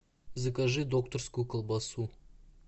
закажи докторскую колбасу